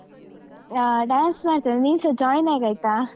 ಆಹ್ dance ಮಾಡ್ತೇವೆ, ನೀನ್ಸ join ಆಗಯ್ತಾ.